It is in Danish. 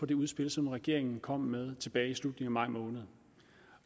på det udspil som regeringen kom med tilbage i slutningen af maj måned